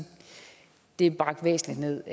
det er bragt væsentligt ned